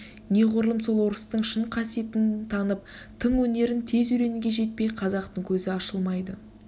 неғұрлым сол орыстың шын қасиетін танып тың өнерін тез үйренуге жетпей қазақтың көзі ашылмайды